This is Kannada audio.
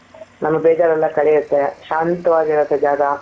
ನಮ್ಮ ಬೇಜಾರೆಲ್ಲ ಕಳಿಯುತ್ತೆ.ಶಾಂತವಾಗಿ ಇರುತ್ತೆ ಜಾಗ.